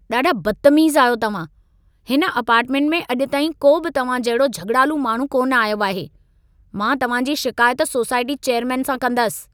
ॾाढा बदतमीज़ आहियो तव्हां। हिन अपार्टमेंट में अॼु ताईं को बि तव्हां जहिड़ो झॻिड़ालू माण्हू कोन आयो आहे। मां तव्हां जी शिकायत सोसाइटी चैयरमेन सां कंदसि।